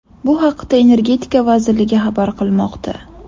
Bu haqda Energetika vazirligi xabar qilmoqda .